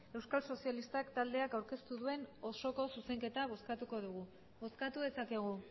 euskal sozialistak taldeak aurkeztu duen osoko zuzenketa bozkatuko dugu bozkatu dezakegu